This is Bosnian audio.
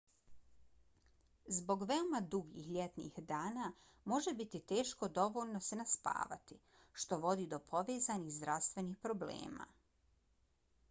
zbog veoma dugih ljetnih dana može biti teško dovoljno se naspavati što vodi do povezanih zdravstvenih problema